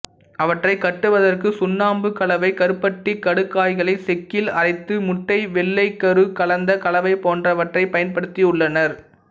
அவற்றைக் கட்டுவதற்கு சுண்ணாம்பு கலவை கருப்பட்டி கடுக்காய்களை செக்கில் அரைத்து முட்டை வெள்ளைகரு கலந்த கலவை போன்றவற்றைப் பயன்படுத்தியுள்ளனர்